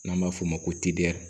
N'an b'a f'o ma ko